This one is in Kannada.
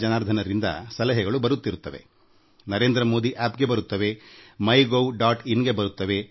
in ಮೂಲಕ ಜನರಿಂದ ಸಲಹೆಗಳು ನಿರಂತರವಾಗಿ ಬರುತ್ತಿರುತ್ತವೆ